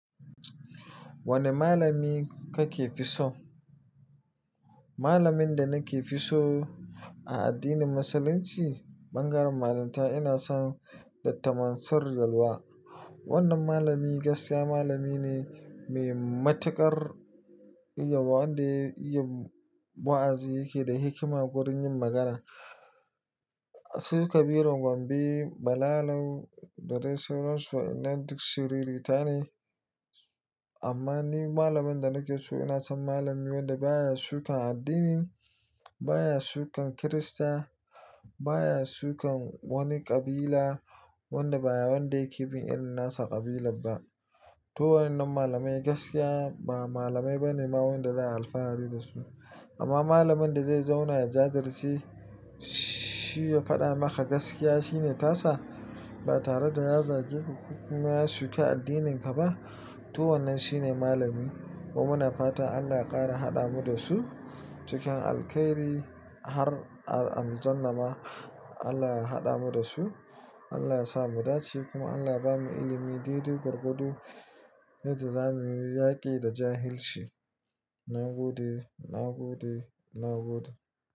Wane malami kake fi so? Malamin da nake fi so a addinin Musulunci, bangaren malanta ina son Dr. Mansur Galwa. Wannan malami gaskiya malami ne mai matuƙar iya wa, wanda iya wa'azi yake da hikima wurin yin magana. Su Kabirun Gombe, Bilalau da dai sauran su ina duk siriri ta ne. Amma ni malamin da nake so ina son malami wanda baya shukan addini, baya shukan Kirista, baya shukan wani ƙabila, wanda baya wanda yake bin irin nasa ƙabilar ba. To wannan malamai gaskiya ba malamai ba ne ma wanda za a alfahari da su. Amma malamin da zai zauna a jajirce, shi ya faɗa maka gaskiya shine tasa ba tare da ya zage ku kuma ya shuka addininka ba. To wannan shine malami. Kuma na fata Allah ya ƙara haɗa mu da su cikin alkhairi har aljanna ma Allah ya haɗa mu da su. Allah ya sa mu dace kuma Allah ya bamu ilimin dai dai gwargwado yadda zamuyi yaƙi da jahilci. Na gode, na gode, na gode.